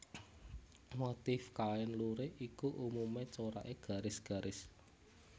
Motif kain lurik iku umumé coraké garis garis